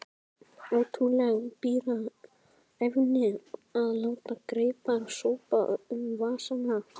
Ótrúleg bíræfni að láta greipar sópa um vasana.